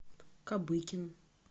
кабыкин